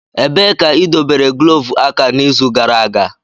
Ebee ka idobere glọvu aka n'izu gara aga?